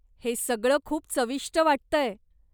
हे सगळं खूप चविष्ट वाटतंय.